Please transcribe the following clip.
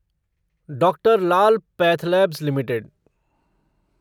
doctor Lal PathLabs limited